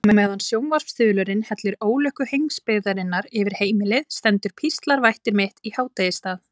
Á meðan sjónvarpsþulurinn hellir ólukku heimsbyggðarinnar yfir heimilið stendur píslarvætti mitt í hádegisstað.